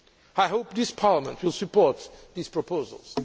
I hope this Parliament will support these proposals.